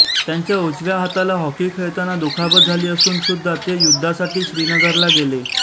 त्यांच्या उजव्या हाताला हॉकी खेळताना दुखापत झाली असून सुद्धा ते युद्धासाठी श्रीनगरला गेले